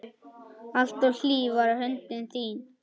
Alltaf hlý var höndin þín.